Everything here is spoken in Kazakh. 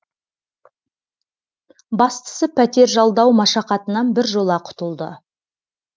бастысы пәтер жалдау машақатынан біржола құтылды